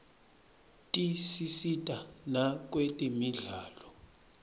tisisita nakwetemidlalo